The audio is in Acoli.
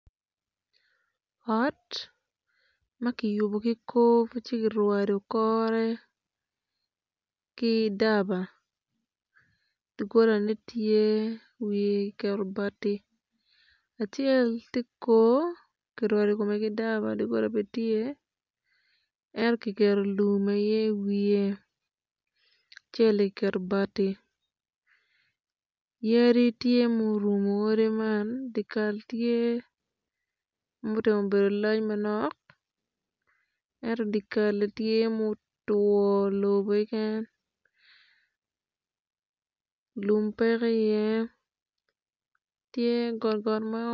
Ot ma kiyubo ci kirwado kore ki daba doggolane tye wiye kiketo bati acel tye kor doggola bene tye ento kiketo kiketo lum aye i wiye acel-li kiketo bati i wiye odi tye ma orumu odi man dok yat tye.